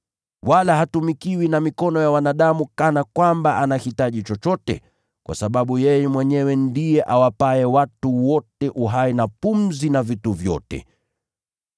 Wala hatumikiwi na mikono ya wanadamu kana kwamba anahitaji chochote, kwa sababu yeye mwenyewe ndiye awapaye watu wote uhai na pumzi na vitu vyote.